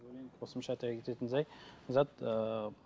қосымша айта кететін жай зат ыыы